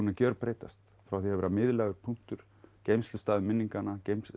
gjörbreyst frá því að vera miðlægur punktur geymslustaður minninganna